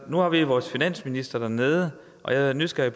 nu har vi vores finansminister dernede og jeg er nysgerrig